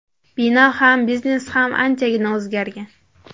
Bino ham, biznes ham anchagina o‘zgargan.